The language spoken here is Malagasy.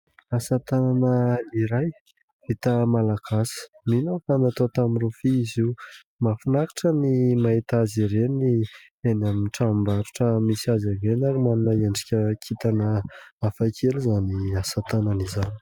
Asatanana iray vita Malagasy, mino aho fa natao tamin'ny rofia izy io. Mahafinaritra ny mahita azy ireny eny amin'ny tranom-barotra misy azy ireny ary manome endrika kintana hafakely izany asatanana izany.